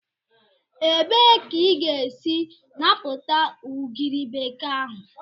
Ebee ka ị ga-esi napụta ugiri bekee ahụ?